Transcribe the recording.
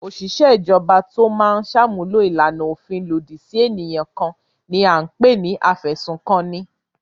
Òṣìṣẹ́ ìjọba tó máa ń ṣàmúlò ìlànà òfin lòdì sí ènìyàn kan ni à ń pè ní afẹ̀sùnkanni.